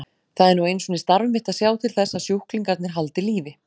Það er nú einu sinni starf mitt að sjá til þess að sjúklingarnir haldi lífi.